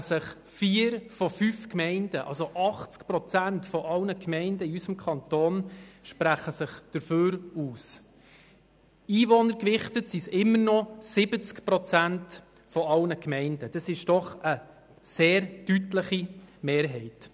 Das sind 80 Prozent und einwohnergewichtet immerhin noch 70 Prozent aller Gemeinden, also eine sehr deutliche Mehrheit.